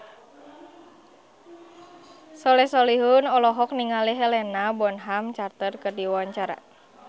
Soleh Solihun olohok ningali Helena Bonham Carter keur diwawancara